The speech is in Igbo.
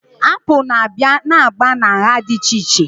Apụl na-abịa na agba na nha dị iche iche